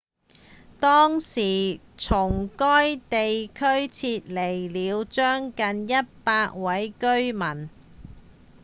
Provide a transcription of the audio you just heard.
當時從該地區撤離了將近100位居民